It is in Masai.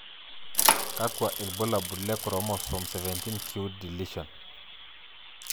Kakwa ibulabul le Chromosome 17q deletion?